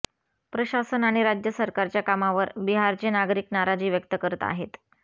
प्रशासन आणि राज्य सरकारच्या कामावर बिहारचे नागरिक नाराजी व्यक्त करत आहेत